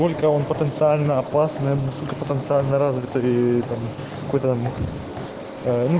сколько он потенциально опасным потенциально развитое там какой-то